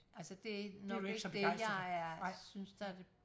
Altså det nok ikke det jeg er synes der det